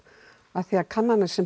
af því að kannanir sem